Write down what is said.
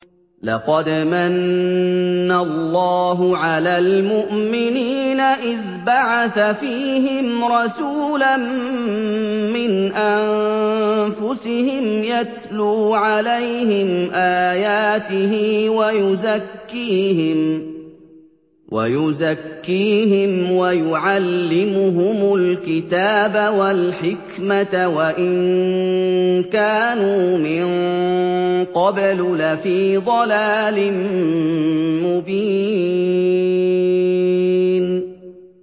لَقَدْ مَنَّ اللَّهُ عَلَى الْمُؤْمِنِينَ إِذْ بَعَثَ فِيهِمْ رَسُولًا مِّنْ أَنفُسِهِمْ يَتْلُو عَلَيْهِمْ آيَاتِهِ وَيُزَكِّيهِمْ وَيُعَلِّمُهُمُ الْكِتَابَ وَالْحِكْمَةَ وَإِن كَانُوا مِن قَبْلُ لَفِي ضَلَالٍ مُّبِينٍ